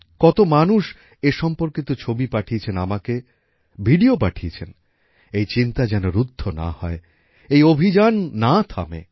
কত মানুষ এ সম্পর্কিত ছবি পাঠিয়েছেন আমাকে ভিডিও পাঠিয়েছেন এই চিন্তা যেন রুদ্ধ না হয় এই অভিযান না থামে